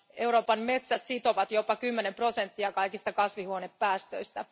Euroopan metsät sitovat jopa kymmenen prosenttia kaikista kasvihuonepäästöistä.